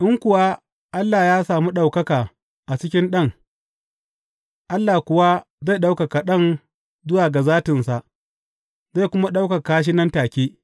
In kuwa Allah ya sami ɗaukaka a cikin Ɗan, Allah kuwa zai ɗaukaka Ɗan zuwa ga zatinsa, zai kuma ɗaukaka shi nan take.